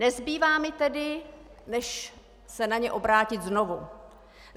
Nezbývá mi tedy než se na ně obrátit znovu.